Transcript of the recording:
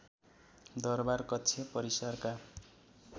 दरबार कक्ष परिसरका